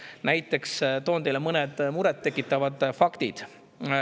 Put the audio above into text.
Toon teile näiteks mõned muret tekitavad faktid.